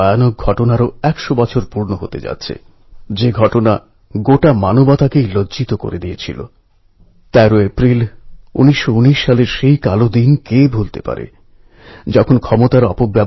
কিন্তু ছোট্ট একটি অগ্নিস্ফুলিঙ্গও যদি তাকে স্পর্শ করে তো সব কথা আবার জেগে ওঠে এবং চলে যাওয়া দিনগুলির দিকে আমাদের আবার টেনে নিয়ে আসে